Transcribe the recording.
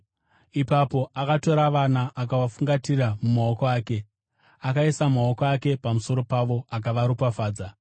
Ipapo akatora vana akavafungatira mumaoko ake, akaisa maoko ake pamusoro pavo akavaropafadza.